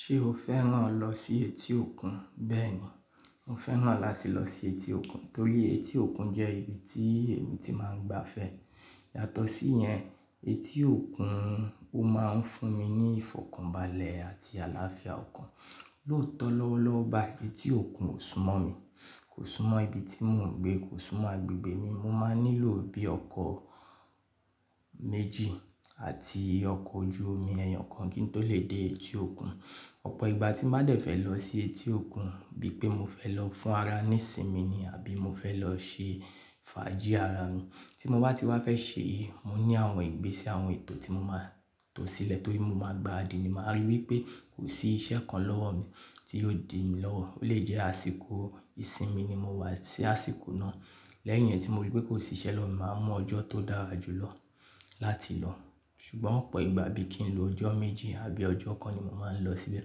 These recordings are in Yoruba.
Ṣé o fẹ́ràn lọ sí etí òkun? Bẹ́ẹ̀ ni, mo fẹ́ràn láti lọ sí etí òkun torí etí òkun jẹ́ ibi tí èmi ti máa ń gba fẹ́. Yàtọ̀ sí yẹn, etí òkun ó máa ń fún mi ní ìfọ̀kànbalẹ̀ àti àlàáfíà ọkàn. Lóòótọ́ lọ́wọ́lọ́wọ́ bayii etí òkun ò súmọ́ mi, kò súmọ́ ibi tí mò ń gbé, kò súmọ́ agbègbè mi. Mo máa nílò bí ọkọ̀ méjì àti ọkọ̀ ojú omi ẹ̀eyàn kan kí n tó lè dé etí òkun. Ọ̀pọ̀ ìgbà tí máa dẹ̀ fẹ́ lọ sí etí òkun bí i pé mo fẹ́ lọ fún ara ní ìsinmi ni àbí mo fẹ́ lọ ṣe fàájì ara mi. Tí mo bá ti wá fẹ́ ṣe èyí, mo ní àwọn ìgbésẹ̀ àwọn ètò tí mo máa tò sílẹ̀ torí mo máa gbaradì ni màá a rí wípé kò sí iṣẹ́ kan lọ́wọ́ mi tí yóò di mí lọ́wọ́. Ó lè jẹ́ àsìkò ìsinmi ni mo wá sí àsìkò náà. Lẹ́yìn yẹn tí mo rí i wípé kò sí iṣẹ́ lọ́wo mi, màá mọ ọjọ́ tó dáa jù lọ láti lọ. Ṣùgbọ́n ọ̀pọ̀ ìgbà bí i kí n lo ọjọ́ méjì àbí ọjọ́ kan ni mo máa ń lọ síbẹ̀.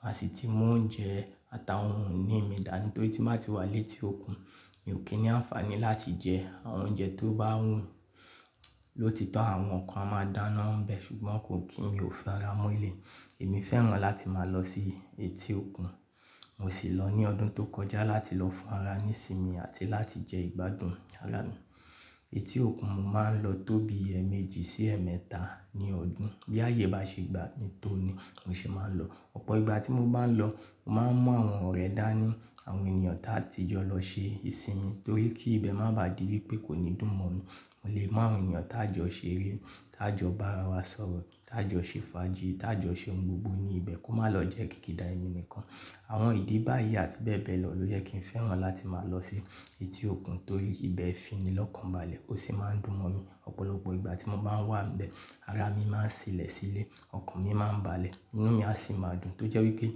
Màá sì ti mú oúnjẹ àtàwọn oun ìní mi dání torí tí màá ti wá létí òkun, mi ò kí ni àǹfààní láti jẹ àwọn oúnjẹ tó bá wù lótitọ́ àwọn kan a máa dáná n bẹ ṣùgbọ́n kò kí mi ò fi ara mo elẹ̀yii. Èmi fẹ́ràn láti máa lọ sí etí òkun. Mo sì lọ ní ọdún tó kọjá láti lọ fún ara mi ní ìsinmi àti láti jẹ ìgbádùn ara mi. Etí òkun mo máa ń lọ tó bí ẹẹ̀mẹ́jì sí ẹẹ̀mẹ́ta ní ọdún. Bí ààyè bá ṣe gba mi tó ni, mo sì máa ń lọ. Ọ̀pọ̀ ìgbà tí mo bá ń lọ, n màá ń mú àwọn ọ̀rẹ́ dání, àwọn ènìyàn ta ti jọ lọ ṣe ìsinmi torí kí ibẹ̀ má bà di wípé kò ní dù mọ́ mi. Mo lè mu àwọn èeyàn tá jọ ṣeré, tá jọ bá ara wa sọ̀rọ̀, tá jọ ṣe fàájì, tá jọ ṣe ohun gbogbo ní ibẹ̀ kó má lọ jẹ́ kìkìdà ẹni nìkan. Àwọn ìdí báyìí àti bẹ́ẹ̀ bẹ́ẹ̀ lọ ló yẹ́ kí n fẹ́ràn láti máa lọ sí etí òkun torí ibẹ̀ fi ni lọ́kànbalẹ̀ ó sì máa ń dùn mọ́ mi. Ọ̀pọ̀lọpọ̀ ìgbà tí mo ba wà nbẹ̀, ara mi máa ń sílẹ̀ sílé, ọkàn mi máa ń balẹ̀, inú mi á sì máa dùn tó jẹ́ wípé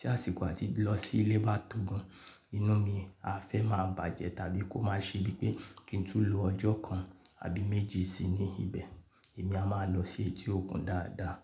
tí àsìkò àti lọ sílé bá tòógan, inú mi á fẹ́ máa bàjẹ́ tàbí kó má ṣe bíi pé kí n tún lo ọjọ́ kan àbí méjì sí ní ibẹ̀. Èmi a máa lọ sí etí òkun dáadáa.